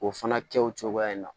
O fana kɛ o cogoya in na